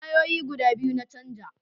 Tayoyi guda biyu na canja